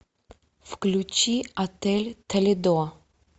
включи отель толедо